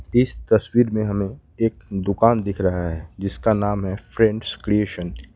इस तस्वीर में हमें एक दुकान दिख रहा है जिसका नाम है फ्रेंड्स क्रिएशन ।